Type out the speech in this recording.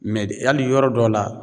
d hali yɔrɔ dɔ la